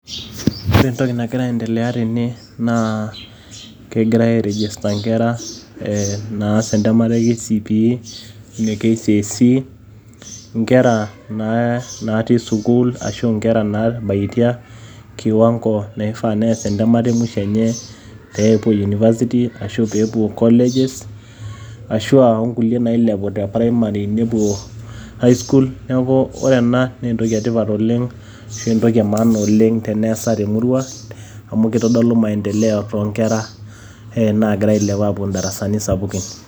Kore ntoki najira aendeleya te ene naa kejiraa aendeleya airejista nkerra eeh naas entamata e KCPE ne KCSE. Nkerra naati sukuul asho naitabatia kiwangoo naifaa nees entamata e mwishoo enye pee poo University asho pee poo colleges, asho o nkulee nailepu te Primary nipoo High school. Neeku ore ena nee ntoki e tipaat oleng asho ntoki e maana oleng teneasai te murrua amu ketodoolu maendeleo to nkerra naigira ailepuu apo ldarasani sapukin.